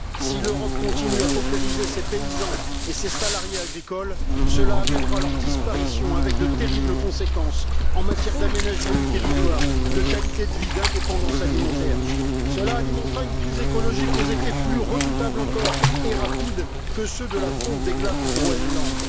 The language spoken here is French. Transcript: Si l'Europe continue à paupériser ses paysans et ses salariés agricoles, cela amènera à leur disparition, avec de terribles conséquences en matière d'aménagement du territoire, de qualité de vie, d'indépendance alimentaire. Cela alimentera une crise écologique aux effets plus redoutables encore et plus rapides que ceux de la fonte des glaces du Groenland.